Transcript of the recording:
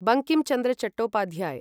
Bankim Chandra Chattopadhyay